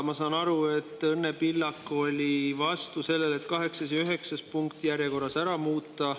Ma saan aru, et Õnne Pillak oli vastu sellele, et kaheksas ja üheksas punkt järjekorras ära muuta.